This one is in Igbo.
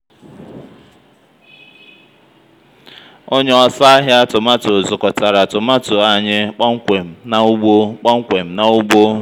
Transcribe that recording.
ónyé ósò àhị̀á tọmatọ zụ̀kòtára tọmatọ ányị́ kpọ́mkwém ná úgbó kpọ́mkwém ná úgbó